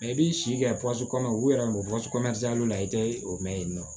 i b'i si kɛ kɔnɔ u yɛrɛ ma la i tɛ o mɛn yen nɔ